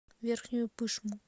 верхнюю пышму